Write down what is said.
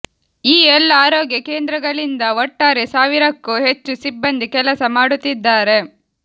ಈ ಎಲ್ಲಾ ಆರೋಗ್ಯ ಕೇಂದ್ರಗಳಿಂದ ಒಟ್ಟಾರೆ ಸಾವಿರಕ್ಕೂ ಹೆಚ್ಚು ಸಿಬ್ಬಂದಿ ಕೆಲಸ ಮಾಡುತ್ತಿದ್ದಾರೆ